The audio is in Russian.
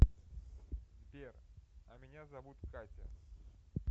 сбер а меня зовут катя